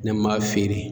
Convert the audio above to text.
Ne m'a feere